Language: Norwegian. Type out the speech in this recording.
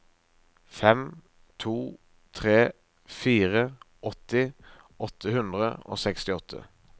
fem to tre fire åtti åtte hundre og sekstiåtte